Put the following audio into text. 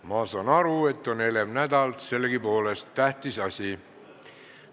Ma saan aru, et on elev nädal, aga sellegipoolest on tähtis asi.